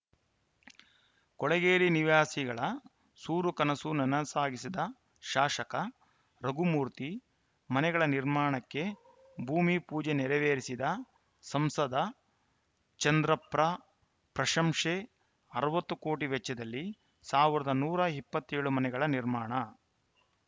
ಕೊಳೆಗೇರಿ ನಿವಾಸಿಗಳ ಸೂರು ಕನಸು ನನಸಾಗಿಸಿದ ಶಾಸಕ ರಘುಮೂರ್ತಿ ಮನೆಗಳ ನಿರ್ಮಾಣಕ್ಕೆ ಭೂಮಿ ಪೂಜೆ ನೆರವೇರಿಸಿದ ಸಂಸದ ಚಂದ್ರಪ್ರ ಪ್ರಶಂಸೆ ಅರವತ್ತು ಕೋಟಿ ವೆಚ್ಚದಲ್ಲಿ ಸಾವಿರದ ನೂರ ಇಪ್ಪತ್ತ್ ಏಳು ಮನೆಗಳ ನಿರ್ಮಾಣ